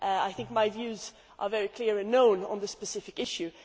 I think my views are very clear and known on this specific issue.